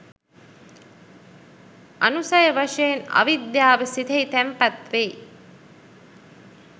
අනුසය වශයෙන් අවිද්‍යාව සිතෙහි තැන්පත් වෙයි.